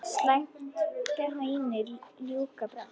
Slætti bændur ljúka brátt.